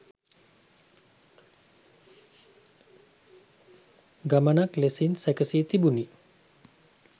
ගමනක් ලෙසින් සැකසී තිබුණි.